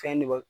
Fɛn ne b'a